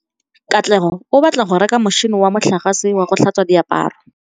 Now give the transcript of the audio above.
Katlego o batla go reka motšhine wa motlakase wa go tlhatswa diaparo.